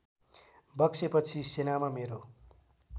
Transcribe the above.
बक्सेपछि सेनामा मेरो